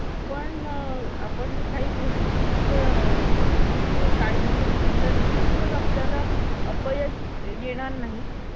दोनशेदोन चौथा मजला एकादशी apartment वैभव मैदानाजवळ दिवा पश्चिम